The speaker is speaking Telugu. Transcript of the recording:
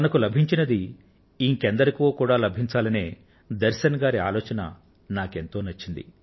తనకు లభించింది ఇంకెందరికో కూడా లభించాలనే దర్శన్ గారి ఆలోచన నాకెంతో నచ్చింది